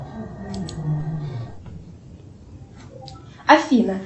афина